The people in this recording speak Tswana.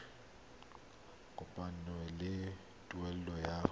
e kopanngwang le tuelo ya